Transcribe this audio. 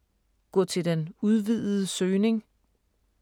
Gå til den udvidede søgning